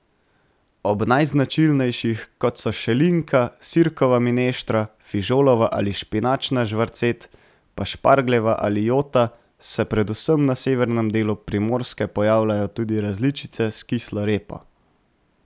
Ob najznačilnejših, kot so šelinka, sirkova mineštra, fižolova ali špinačna, žvarcet, pa špargljeva ali jota, se predvsem na severnem delu Primorske pojavljajo tudi različice s kislo repo.